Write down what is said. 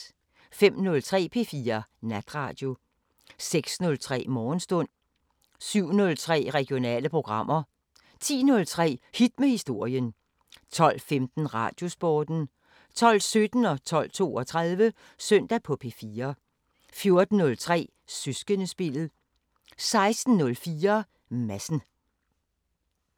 05:03: P4 Natradio 06:03: Morgenstund 07:03: Regionale programmer 10:03: Hit med historien 12:15: Radiosporten 12:17: Søndag på P4 12:32: Søndag på P4 14:03: Søskendespillet 16:04: Madsen